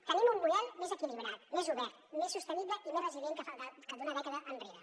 tenim un model més equilibrat més obert més sostenible i més resilient que el d’una dècada enrere